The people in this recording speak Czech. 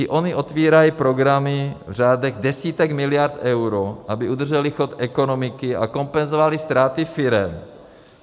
I ony otevírají programy v řádech desítek miliard eur, aby udržely chod ekonomiky a kompenzovaly ztráty firem.